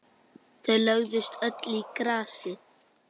Þau lögðust öll í grasið.